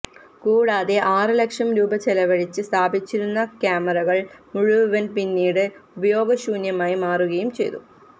കൂടാതെ ആറ് ലക്ഷം രൂപ ചെലവഴിച്ച് സ്ഥാപിച്ചിരുന്ന ക്യാമറകള് മുഴുവന് പിന്നീട്ഉപയോഗശൂന്യമായി മാറുകയും ചെയ്തു